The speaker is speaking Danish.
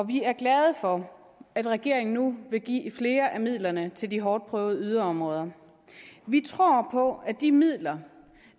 vi er glade for at regeringen nu vil give flere af midlerne til de hårdt prøvede yderområder vi tror på at de midler